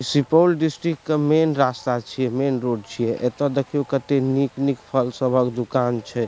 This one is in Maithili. सुपौल डिस्ट्रिक के मैन रास्ता छीये मैन रोड छीये एते देखियो कते निक-निक फल सभक दुकान छै।